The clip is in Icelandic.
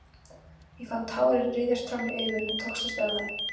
Ég fann tárin ryðjast fram í augun en tókst að stöðva þau.